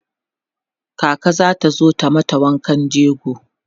kaka zata zo ta mata wankan jego